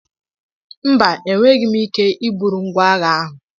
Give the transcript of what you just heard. Mba, enweghị m ike iburu ngwa agha ahụ.